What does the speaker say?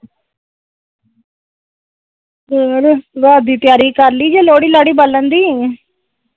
ਹੋਰ ਰਾਤ ਦੀ ਤਿਆਰੀ ਕਰਲੀ ਲੋੜਹੀ ਲਾੜੀ ਬਾਲਣ ਦੀ?